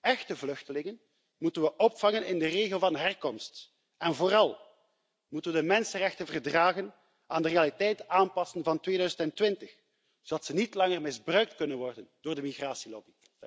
Echte vluchtelingen moeten we opvangen in de regio van herkomst, en vooral moeten we de mensenrechtenverdragen aanpassen aan de realiteit van 2020, zodat ze niet langer misbruikt kunnen worden door de migratielobby.